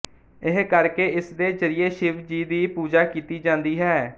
ਇਹ ਕਰਕੇ ਇਸਦੇ ਜ਼ਰਿਏ ਸ਼ਿਵ ਜੀ ਦੀ ਪੂਜਾ ਕੀਤੀ ਜਾਂਦੀ ਹੈ